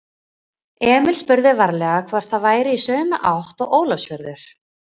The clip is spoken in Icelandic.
Emil spurði varlega hvort það væri í sömu átt og Ólafsfjörður.